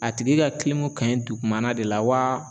A tigi ka kilimu kanɲi dugumana de la waa